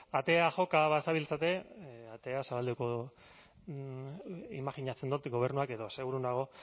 atea joka bazabiltzate atea zabalduko du imajinatzen dut gobernuak edo seguru nago